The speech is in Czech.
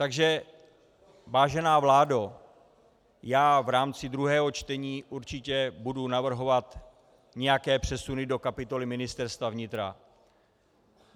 Takže vážená vládo, já v rámci druhého čtení určitě budu navrhovat nějaké přesuny do kapitoly Ministerstva vnitra.